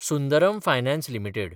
Sundaram finance limited